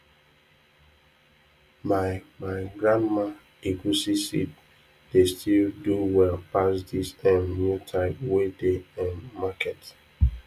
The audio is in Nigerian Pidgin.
my my grandma egusi seed dey still do well pass dis um new type wey dey um market